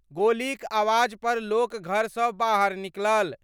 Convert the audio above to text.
गोलीक आवाज पर लोक घर सं बाहर निकलल।